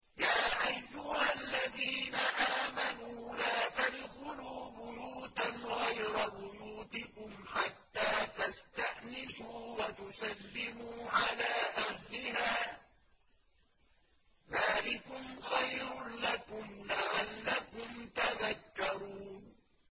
يَا أَيُّهَا الَّذِينَ آمَنُوا لَا تَدْخُلُوا بُيُوتًا غَيْرَ بُيُوتِكُمْ حَتَّىٰ تَسْتَأْنِسُوا وَتُسَلِّمُوا عَلَىٰ أَهْلِهَا ۚ ذَٰلِكُمْ خَيْرٌ لَّكُمْ لَعَلَّكُمْ تَذَكَّرُونَ